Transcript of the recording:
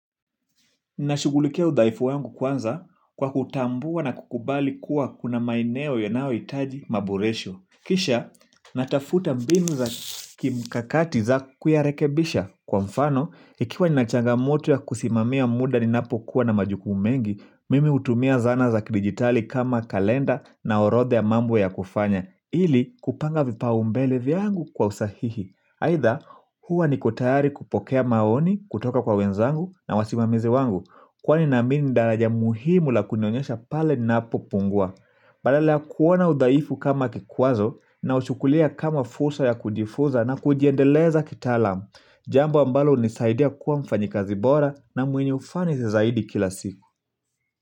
Ninashugulikia udhaifu wangu kwanza kwa kutambua na kukubali kuwa kuna maeneo yanayo hitaji maboresho. Kisha natafuta mbinu za kimkakati za kuyarekebisha. Kwa mfano, ikiwa ninachangamoto ya kusimamia muda ninapo kuwa na majukumu mengi, mimi hutumia zana za kidijitali kama kalenda na orodha ya mambo ya kufanya. Ili kupanga vipao mbele vyangu kwa usahihi. Aitha huwa niko tayari kupokea maoni, kutoka kwa wenzangu na wasimamizi wangu kwani na amini ni daraja muhimu la kunionyesha pale ninapo pungua badala ya kuona udhaifu kama kikwazo na uchukulia kama fursa ya kujifuza na kujiendeleza kitalamu jambo ambalo hunisaidia kuwa mfanyi kazi bora na mwenye ufani zaidi kila siku.